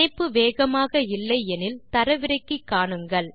இணைப்பு வேகமாக இல்லை எனில் தரவிறக்கி காணுங்கள்